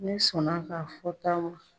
Ne sɔnna a ka fɔta ma.